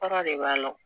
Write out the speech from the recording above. Kɔrɔ de b'a la